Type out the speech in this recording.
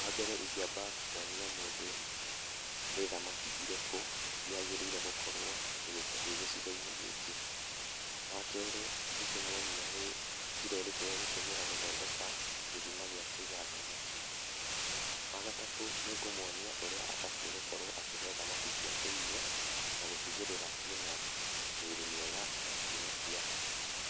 Wambere ingĩamba kuonia mũndũ, nĩ thamaki irĩkũ, yagĩrĩirwo gũkorwo ĩĩ gĩcigo-inĩ gĩkĩ. Wa kerĩ, nĩ ingĩmuonia nĩ njíĩra irĩku egũtũmĩra gũthondeka, gĩthima gĩa kũiga thamaki. Wa gatatũ nĩ ngũmuonia ũrĩa abatiĩ gũkorwo akĩhe thamaki ciake irio, na gũtigĩrĩra ciĩna, mĩĩrĩ mĩega na citinakua